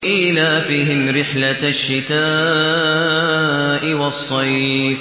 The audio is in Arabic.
إِيلَافِهِمْ رِحْلَةَ الشِّتَاءِ وَالصَّيْفِ